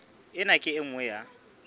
ena ke e nngwe ya